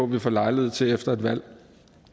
vi får lejlighed til efter et valg